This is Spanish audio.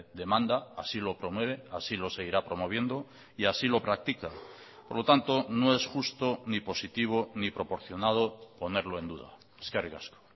demanda así lo promueve así lo seguirá promoviendo y así lo practica por lo tanto no es justo ni positivo ni proporcionado ponerlo en duda eskerrik asko